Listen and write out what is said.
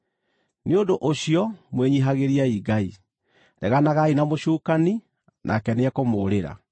Nĩ ũndũ ũcio mwĩnyiihagĩriei Ngai. Reganagai na mũcukani, nake nĩekũmũũrĩra.